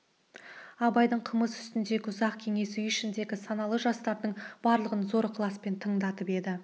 абайдың қымыз үстіндегі ұзақ кеңесі үй ішіндегі саналы жастардың барлығын зор ықыласпен тыңдатып еді